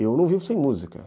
Eu não vivo sem música.